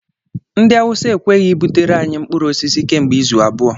Ndị awụsa ekweghị e butere anyị mkpụrụosisi kemgbe izu abụọ